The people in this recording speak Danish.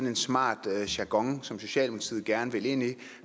en smart jargon som socialdemokratiet gerne vil ind i